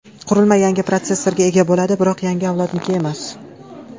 Qurilma yangi protsessorga ega bo‘ladi, biroq yangi avlodniki emas.